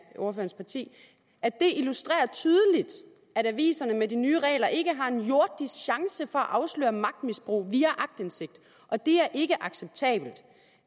ordførerens parti det illustrerer tydeligt at aviserne med de nye regler ikke har en jordisk chance for at afsløre magtmisbrug via aktindsigt og det er ikke acceptabelt